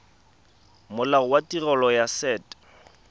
molao wa tirelo ya set